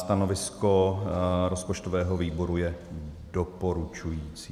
Stanovisko rozpočtového výboru je doporučující.